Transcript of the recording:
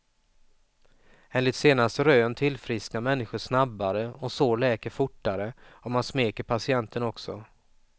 Enligt senaste rön tillfrisknar människor snabbare och sår läker fortare om man smeker patienten också.